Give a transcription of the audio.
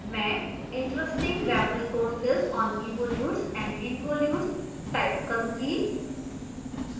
मैं interesting web resources on evolutes and involutes type करूंगी